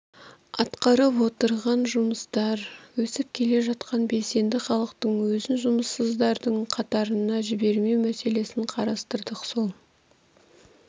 атқарып отырған жұмыстар өсіп келе жатқан белсенді халықтың өзін жұмыссыздардың қатарына жібермеу мәселесін қарастырдық сол